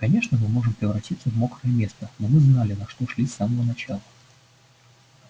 конечно мы можем превратиться в мокрое место но мы знали на что шли с самого начала